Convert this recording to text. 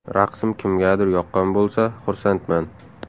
Raqsim kimgadir yoqqan bo‘lsa, xursandman!